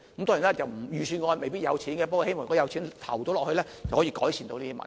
當然，預算案未必有預留款項，不過，如果有錢投放入去的話，便可以改善有關的問題。